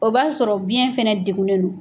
O b'a sɔrɔ biyɛn fɛnɛ degunen no.